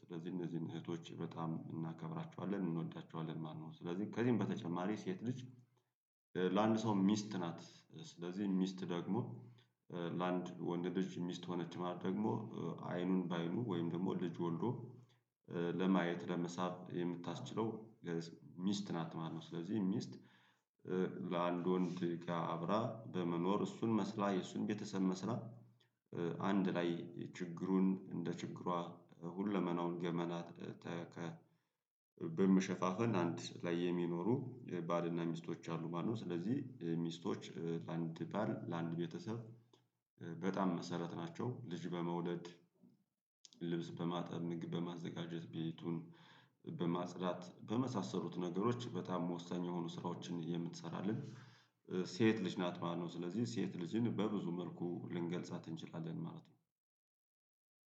ስለዚህ እነዚህን እህቶች በጣም እናከብራቸዋለን እንወዳቸዋለን ማለት ነው። ስለዚህ ከዚህም በተጨማሪ ሴት ልጅ ለአንድ ሰው ሚስት ናት ስለዚህ ሚስት ደግሞ ለአንድ ወንድ ልጅ ሚስት ሆነች ማለት ደግሞ አይኑን በአይኑ ወይም ደግሞ ልጅ ወልዶ ለማየት ለመሳብ የምታስችለው ሚስት ናት ማለት ነው። ስለዚህ ሚስት ከአንድ ወንድ ጋር አብራ በመኖር እሱን መስላ የእሱን ቤተሰብ መስላ አንድ ላይ ችግሩን እንደ ችግሯ ሁለመናውን ገመና በመሸፋፈን አንድ ላይ የሚኖሩ ባልና ሚስቶች አሉ ማለት ነው። ስለዚህ ሚስቶች ለአንድ ባል ለአንድ ቤተሰብ በጣም መሰረት ናቸው ልጅ በመውለድ ልብስ በማጠብ ምግብ በማዘጋጀት ቤቱን በማጽዳት በመሳሰሉት ነገሮች በጣም ወሳኝ የሆኑ ስራዎችን የምትሰራልን ሴት ልጅ ናት ማለት ነው። ስለዚህ ሴት ልጅን በብዙ መልኩ ልንገልጻት እንችላለን ማለት ነው።